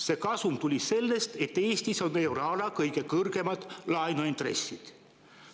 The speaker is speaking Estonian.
See kasum tuli sellest, et Eestis on euroala kõige kõrgemad laenuintressid.